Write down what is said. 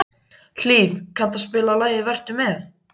Hlíf, kanntu að spila lagið „Vertu með“?